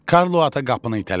Karlo ata qapını itələdi.